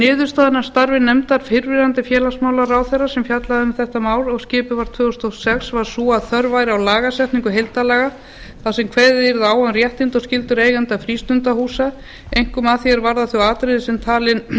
niðurstaðan af starfi nefndar fyrrverandi félagsmálaráðherra sem fjallaði um þetta mál og skipuð var tvö þúsund og sex var sú að þörf væri á lagasetningu heildarlaga þar sem kveðið yrði á um réttindi og skyldur eigenda frístundahúsa einkum að því er varðar þau atriði sem